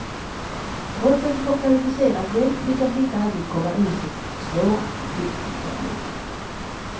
Trots att de får kvalificerad hjälp lyckas de inte alltid komma ur sin svåra konfliktsituation.